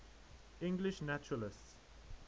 english naturalists